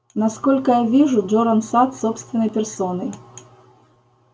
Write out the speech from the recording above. насколько я вижу джоран сатт собственной персоной